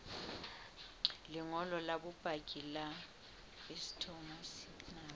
lengolo la bopaki la phytosanitary